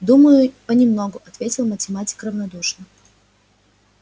думаю понемногу ответил математик равнодушно